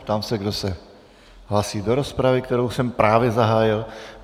Ptám se, kdo se hlásí do rozpravy, kterou jsem právě zahájil.